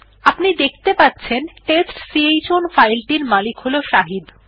আপনি দেখতে পাচ্ছেন টেস্টচাউন ফাইল টির মালিক হল শাহিদ